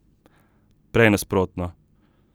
Prej nasprotno.